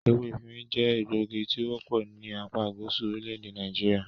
Ewé efinrin jẹ́ egbògi tí o wọ́pọ̀ ní apágúsù orílẹ̀-èdè Nàìjíríà.